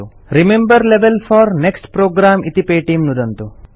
remember level four next programme इति पेटीं नुदन्तु